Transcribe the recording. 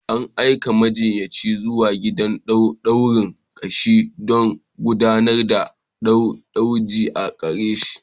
An aika da majiyyaci zuwa gidan dukan ƙashi don gudanar da gwaji a gare shi.